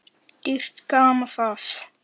Dýrt gaman það.